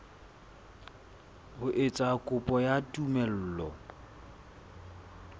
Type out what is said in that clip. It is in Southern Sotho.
ho etsa kopo ya tumello